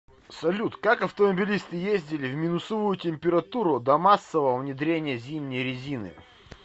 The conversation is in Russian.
салют как автомобилисты ездили в минусовую температуру до массового внедрения зимней резины